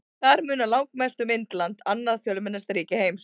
Þar munar langmest um Indland, annað fjölmennasta ríki heims.